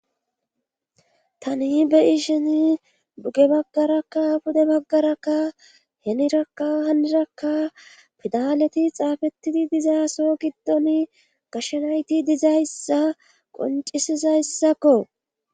Tani beyi sheni buge baggarakka bude baggarakka henirakka hanirakka fidaleti xaafettidi dizaaso giddon gashenayti dizayssa qoncisizayssakko